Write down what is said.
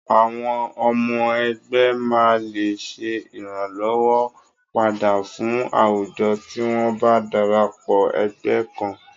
Àwọn ọmọ ẹgbẹ́ máa lè ṣe ìrànlọ́wọn padà fún àwùjo tí wọn bá darapọ̀ ẹgbẹ́ kan.